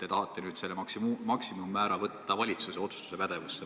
Te tahate nüüd selle maksimummäära võtta valitsuse otsustuspädevusse.